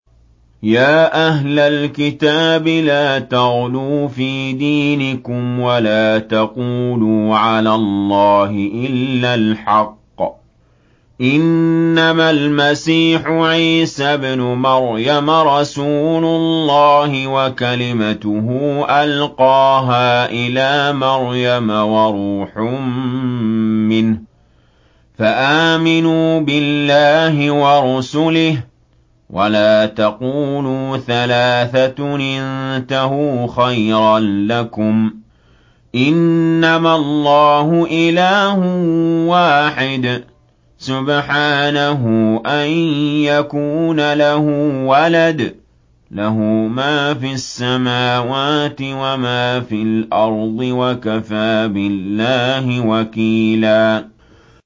يَا أَهْلَ الْكِتَابِ لَا تَغْلُوا فِي دِينِكُمْ وَلَا تَقُولُوا عَلَى اللَّهِ إِلَّا الْحَقَّ ۚ إِنَّمَا الْمَسِيحُ عِيسَى ابْنُ مَرْيَمَ رَسُولُ اللَّهِ وَكَلِمَتُهُ أَلْقَاهَا إِلَىٰ مَرْيَمَ وَرُوحٌ مِّنْهُ ۖ فَآمِنُوا بِاللَّهِ وَرُسُلِهِ ۖ وَلَا تَقُولُوا ثَلَاثَةٌ ۚ انتَهُوا خَيْرًا لَّكُمْ ۚ إِنَّمَا اللَّهُ إِلَٰهٌ وَاحِدٌ ۖ سُبْحَانَهُ أَن يَكُونَ لَهُ وَلَدٌ ۘ لَّهُ مَا فِي السَّمَاوَاتِ وَمَا فِي الْأَرْضِ ۗ وَكَفَىٰ بِاللَّهِ وَكِيلًا